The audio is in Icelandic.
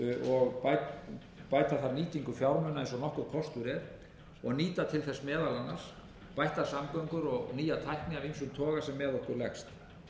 og bæta þar nýtingu fjármuna eins og nokkur kostur er og nýta til þess meðal annars bættar samgöngur og nýja tækni af ýmsum toga sem með